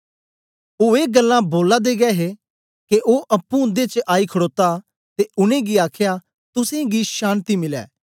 ओ ए गल्लां बोला दे गै हे के ओ अप्पुं उन्दे च आई खडोता ते उनेंगी आखया तुसेंगी शान्ति मिलै